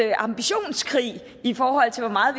en ambitionskrig i forhold til hvor meget